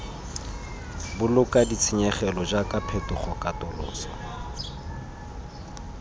boloka ditshenyegelo jaaka phetogo katoloso